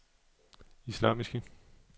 islamiske